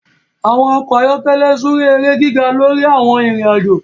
àwọn ọkọ ayọkẹlẹ súré èrè gíga lórí àwon Ìrìn àjọ